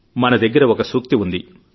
మనదగ్గర ఒక సూక్తి ఉంది